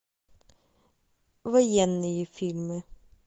военные фильмы